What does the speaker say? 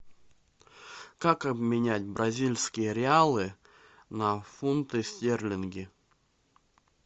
как обменять бразильские реалы на фунты стерлинги